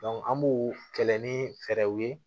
an b'u kɛlɛ ni fɛɛrɛw ye